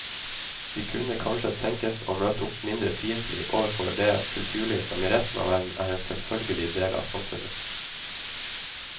De kunne kanskje tenkes å møte opp mindre fiendtlige overfor det kulturliv som i resten av verden er en selvfølgelig del av samfunnet.